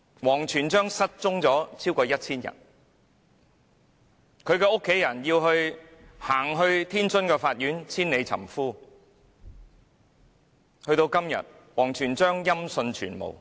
王全璋失蹤超過 1,000 天，他的妻子到天津的法院千里尋夫，到了今天，王全璋仍然音訊全無......